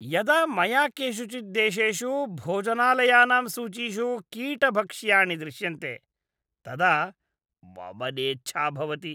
यदा मया केषुचित् देशेषु भोजनालयानां सूचीषु कीटभक्ष्याणि दृश्यन्ते, तदा वमनेच्छा भवति।